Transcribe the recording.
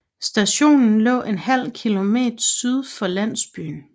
Stationen lå ½ km syd for landsbyen